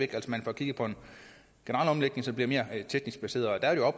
at man bør kigge på en generel omlægning som bliver mere teknisk baseret